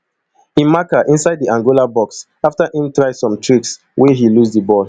im marker inside di angola box afta im try some tricks wey he lose di ball